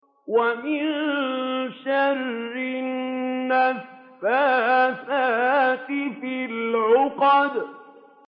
وَمِن شَرِّ النَّفَّاثَاتِ فِي الْعُقَدِ